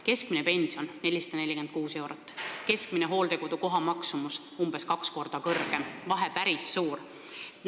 Keskmine pension on 446 eurot, aga keskmine hooldekodu koha maksumus on umbes kaks korda kõrgem, vahe on päris suur.